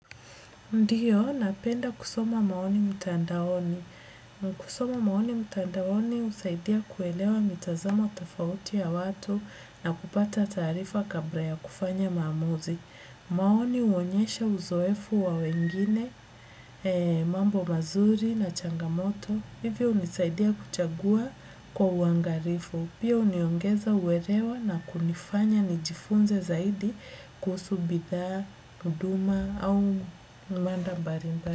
Ndiyo napenda kusoma maoni mtandaoni. Kusoma maoni mtandaoni husaidia kuelewa mitazamo tafauti ya watu na kupata taarifa kabra ya kufanya maamuzi. Maoni huonyesha uzoefu wa wengine, mambo mazuri na changamoto, hivyo hunisaidia kuchagua kwa uangarifu. Pia huniongeza uerewa na kunifanya nijifunze zaidi kuhusu bidhaa, huduma au manda mbarimbari.